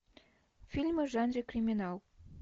фильмы в жанре криминал